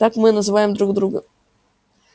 так мы называем друг друга